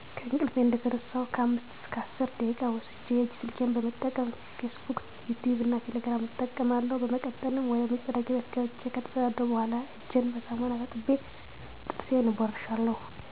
ከእንቅልፊ እንደተነሳሁ ከአምስት እስከ አስር ደቂቃ ወስጀ የእጅ ስልኬን በመጠቀም "ፊስ ቡክ" ፣"ዩቲቭ" እና "ቴሌግራም" እጠቀማለሁ። በመቀጠልም ወደመጸዳጃ ቤት ገብቸ ከተጸዳዳሁ በኋላ እጀን በሳሙና ታጥቤ ጥርሴን እቦርሻለሁ።